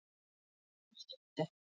Holtagötu